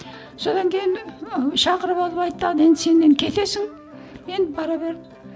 содан кейін шақырып алып айтты ал енді сен кетсің енді бара бер